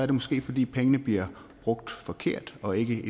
det måske fordi pengene bliver brugt forkert og ikke